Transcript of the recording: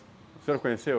O senhor conheceu?